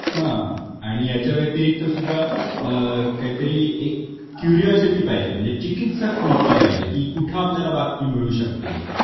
हां. आणि याच्या व्यतिरिक्त सुद्धा अ काहीतरी एक क्युरिऑसिटी पाहिजे म्हणजे चिकित्सक वृत्ती पाहिजे की कुठ आपल्याला बातमी मिळू शकते.